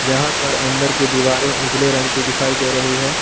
यहां पर अंदर की दीवारें उजले रंग की दिखाई दे रही है।